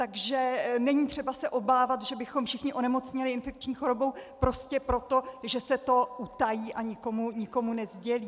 Takže není třeba se obávat, že bychom všichni onemocněli infekční chorobou prostě proto, že se to utají a nikomu nesdělí.